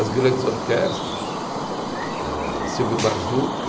As grandes orquestras, eh Silvio Mazuca